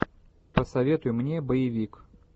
посоветуй мне боевик